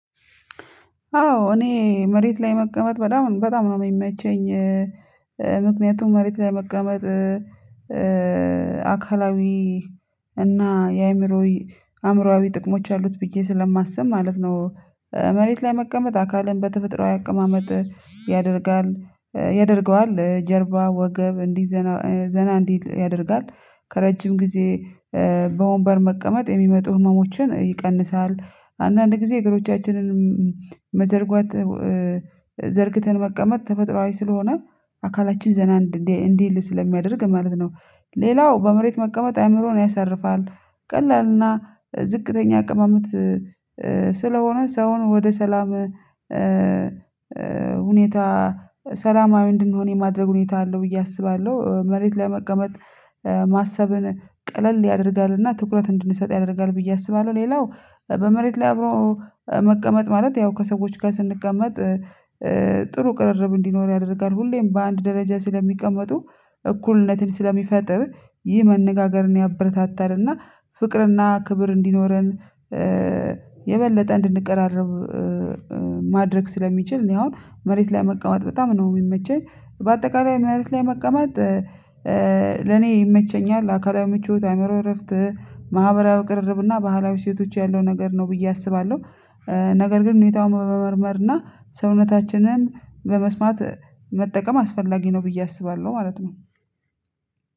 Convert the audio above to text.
አዎ እኔ መሬት ላይ መቀመጥ በጣም በጣም ነው የሚመቸኝ። ምክንያቱም መሬት ላይ መቀመጥ አካላዊ እና የአእምሮዊ አእምሮአዊ ጥቅሞች አሉት ብዬ ስለማስብ ማለት ነው። መሬት ላይ መቀመጥ አካልን በተፈጥሮአዊ አቀማመጥ ያደርጋል ያደርገዋል ጀርባ ወገብ እንዲዘና ዘና እንዲል ያደርጋል ከረጅም ጊዜ በወንበር መቀመጥ የሚመጡ ህመሞችን ይቀንሳል። አንዳንድ ጊዜ እግሮቻችንንም መዘርጓት ዘርግተን መቀመጥ ተፈጥሮአዊ ስለሆነ አካላችን ዘና እንዲህ እንዲህ ስለሚያደርግ ማለት ነው። ሌላው በመሬት መቀመጥ አይምሮን ያሳርፋል ቀላልና ዝቅተኛ አቀማመጥ ስለሆነ ሰውን ወደ ሰላም ሁኔታ ሰላማዊ እንድንሆን የማድረግ ሁኔታ አለው ብዬ አስባለሁ። መሬት ለመቀመጥ ማሰብን ቀለል ያደርጋልና ትኩረት እንድንሰጥ ያደርጋል ብዬ አስባለሁ። ሌላው በመሬት ላይ አብሮ መቀመጥ ማለት ያው ከሰዎች ጋር ስንቀመጥ ጥሩ ቅርርብ እንዲኖር ያደርጋል ሁሌም በአንድ ደረጃ ስለሚቀመጡ እኩልነትን ስለሚፈጥር ይህ መነጋገርን ያበረታታልና ፍቅርና ክብር እንዲኖረን የበለጠ እንድንቀራረብ ማድረግ ስለሚችል እኔ አሁን መሬት ላይ መቀመጥ በጣም ነው የሚመቸኝ። በአጠቃላይ ምሬት ላይ መቀመጥ ለኔ ይመቸኛል አካላዊ ምቾት አይምሮ እረፍት ማህበራዊ ቅርርብ እና ባህላዊ እሴቶች ያለው ነገር ነው ብዬ አስባለሁ። ነገር ግን ሁኔታውን በመመርመር እና ሰውነታችንን በመስማት መጠቀም አስፈላጊ ነው ብዬ አስባለሁ ማለት ነው።